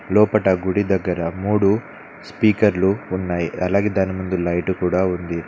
లోపట గుడి దగ్గర మూడు స్పీకర్లు ఉన్నాయి అలాగే దాని ముందు లైట్ కూడా ఉంది.